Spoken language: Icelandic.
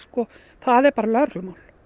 það er bara lögreglumál